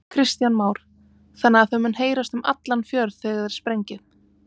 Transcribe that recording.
Kristján Már: Þannig að það mun heyrast um allan fjörð þegar þið sprengið?